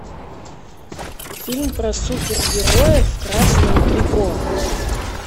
фильм про супергероя в красном трико